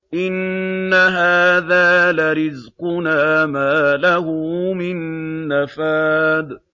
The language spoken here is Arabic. إِنَّ هَٰذَا لَرِزْقُنَا مَا لَهُ مِن نَّفَادٍ